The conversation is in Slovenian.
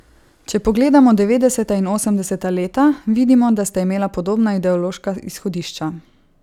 Če pogledamo devetdeseta in osemdeseta leta, vidimo, da sta imela podobna ideološka izhodišča.